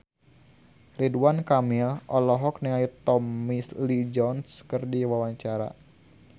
Ridwan Kamil olohok ningali Tommy Lee Jones keur diwawancara